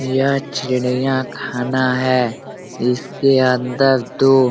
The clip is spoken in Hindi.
यह चिड़िया खाना है इसके अंदर दो --